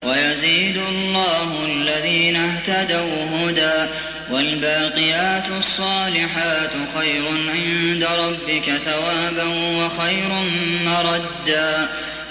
وَيَزِيدُ اللَّهُ الَّذِينَ اهْتَدَوْا هُدًى ۗ وَالْبَاقِيَاتُ الصَّالِحَاتُ خَيْرٌ عِندَ رَبِّكَ ثَوَابًا وَخَيْرٌ مَّرَدًّا